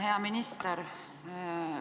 Hea minister!